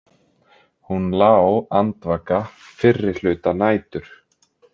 Hún lá andvaka fyrri hluta nætur.